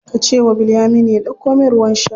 Ka ce wa Bilyaminu ya ɗauko min ruwan sha.